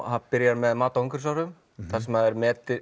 hann byrjar með mati á umhverfisáhrifum þar sem eru